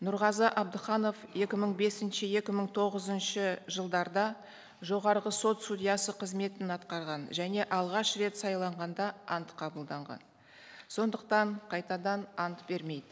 нұрғазы абдықанов екі мың бесінші екі мың тоғызыншы жылдарда жоғарғы сот судьясы қызметін атқарған және алғаш рет сайланғанда ант қабылданған сондықтан қайтадан ант бермейді